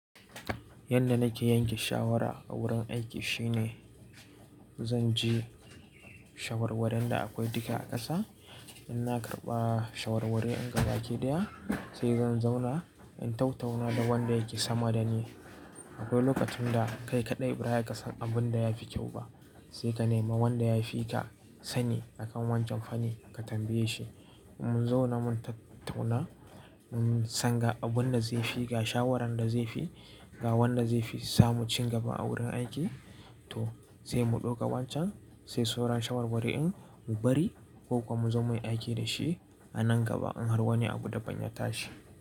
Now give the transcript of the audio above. Yanda nake yanke shawara a wurin aiki shine, zan ji shawarwarin da akwai duka a ƙasa. In na karɓa shawarwari in ga baki ɗaya, sai zan zauna in tattauna da wanda yake sama da ni. Akwai lokacin da kai kaɗai bara ka san abun da ya fi kyau ba, sai ka nema wanda ya fi ka sani a kan wancan fannin ka tambaye shi. Mun zauna mun tattauna, mun san ga abunda zai fi, ga shawarar da zai fi, ga wanda zai fi samun cigaba a wurin aiki. To sai mu ɗauka wancan, sai sauran shawarwari in mu bari ko kuma mu zo muyi aiki dashi a nan gaba in har wani abu daban ya tashi.